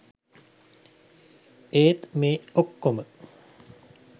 ඒත් මේ ඔක්කොම